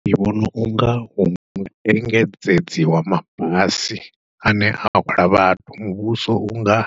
Ndi vhona unga hu engedzedziwe mabasi ane a hwala vhathu, muvhuso unga